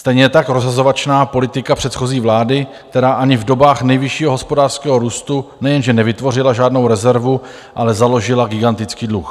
Stejně tak rozhazovačná politika předchozí vlády, která ani v dobách nejvyššího hospodářského růstu nejenže nevytvořila žádnou rezervu, ale založila gigantický dluh.